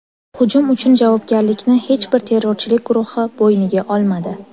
Hujum uchun javobgarlikni hech bir terrorchilik guruhi bo‘yniga olmadi.